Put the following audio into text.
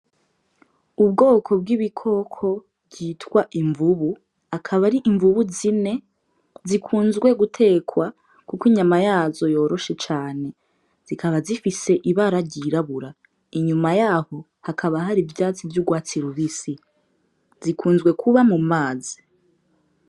Ubwoko bw'ibikoko bwitwa imvubu, akaba ari imvubu zine zikunzwe gutekwa kuko inyama yazo yoroheje cane. Zikaba zifise ibara ry’irabura, inyuma yaho hakaba hari ivyatsi vy’urwatsi rubisi. Zikunzwe kuba mu mazi.